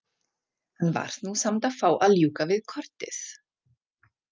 Hann varð nú samt að fá að ljúka við kortið.